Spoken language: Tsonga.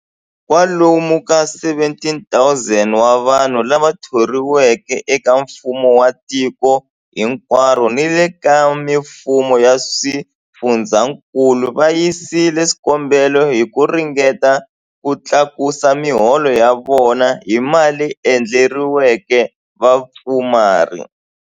Kwalomu ka 17,000 wa vanhu lava thoriweke eka mfumo wa tiko hinkwaro ni le ka mifumo ya swifundzankulu va yisile swikombelo hi ku ringeta ku tlakusa miholo ya vona hi mali leyi endleriweke vapfumari.